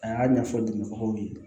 A y'a ɲɛfɔ dɛmɛbagaw ye